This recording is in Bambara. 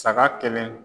Saga kelen